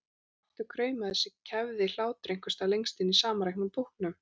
Og aftur kraumaði þessi kæfði hlátur einhvers staðar lengst inni í samanreknum búknum.